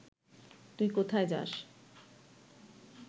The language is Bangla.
তুই কোথায় যাস